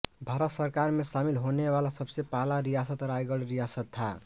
भारत सरकार में शामिल होने वाला सबसे पहला रियासत रायगढ़ रियासत था